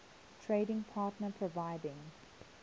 trading partner providing